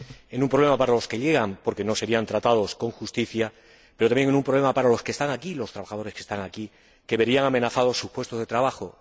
en un problema para los que llegan, porque no serían tratados con justicia, pero también en un problema para los que están aquí, los trabajadores que están aquí, que verían amenazados sus puestos de trabajo.